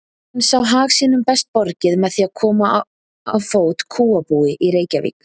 Hann sá hag sínum best borgið með því að koma á fót kúabúi í Reykjavík.